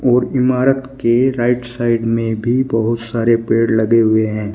और इमारत के राइट साइड में भी बहुत सारे पेड़ लगे हुए हैं।